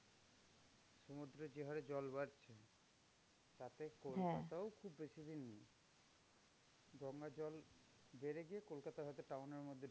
সমুদ্রের যে হারে জল বাড়ছে, তাতে কলকাতাও খুব বেশি দিন নেই। গঙ্গার জল বেড়ে গিয়ে কলকাতা হয়তো town এর মধ্যে